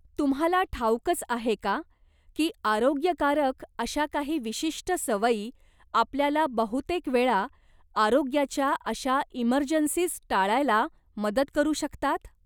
तुम्हाला ठाऊकच आहे का की आरोग्याकारक अशा काही विशिष्ट सवयी आपल्याला बहुतेकवेळा आरोग्याच्या अशा इमर्जन्सीज टाळायला मदत करू शकतात ?